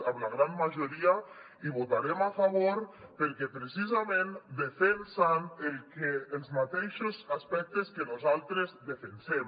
a la gran majoria hi votarem a favor perquè precisament defensen els mateixos aspectes que nosaltres defensem